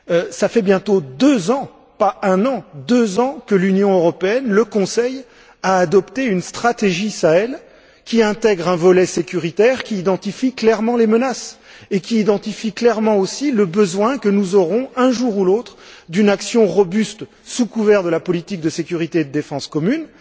Cela fait bientôt deux ans, pas un an, deux ans, que l'Union européenne, le Conseil, a adopté une stratégie Sahel, qui intègre un volet sécuritaire, qui identifie clairement les menaces et qui identifie clairement aussi le besoin que nous aurons de mettre en place, un jour ou l'autre, une action robuste, sous couvert de la politique de sécurité et de défense commune.